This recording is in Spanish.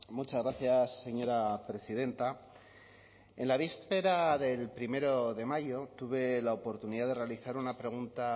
muchas gracias señora presidenta en la víspera del primero de mayo tuve la oportunidad de realizar una pregunta